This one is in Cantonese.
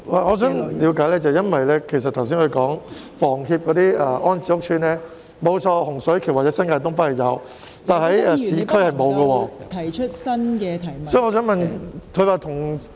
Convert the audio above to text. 我想了解一下，因為局長剛才提到房協的安置屋邨，洪水橋或新界東北的確有，但市區是沒有的。